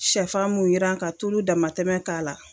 Sɛfan mun yiran ka tulu damatɛmɛ k'a la